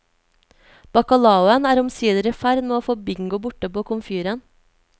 Bacalaoen er omsider i ferd med å få bingo borte på komfyren.